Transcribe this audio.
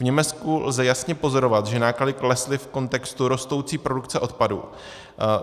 V Německu lze jasně pozorovat, že náklady klesly v kontextu rostoucí produkce odpadu.